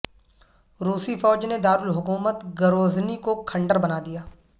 روسی فوج نے دارالحکومت گروزنی کو کھنڈر بنا دیا